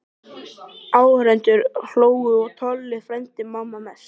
Áhorfendur hlógu og Tolli frændi manna mest.